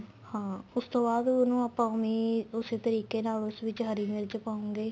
ਹਾਂ ਉਸ ਤੋਂ ਬਾਅਦ ਉਹਨੂੰ ਆਪਾਂ ਉਵੇ ਈ ਉਸੇ ਤਰੀਕੇ ਨਾਲ ਉਸ ਵਿੱਚ ਹਰੀ ਮਿਰਚ ਪਾਉਗੇ